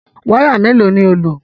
Wáyà mélòó ni ó lò?